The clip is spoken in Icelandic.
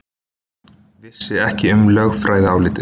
Vissi ekki um lögfræðiálitið